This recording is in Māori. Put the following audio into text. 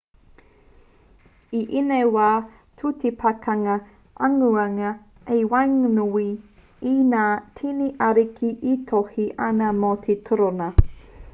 i ēnei wā ka tū te pakanga aungarea i waenganui i ngā tini ariki e tohe ana mō te torōna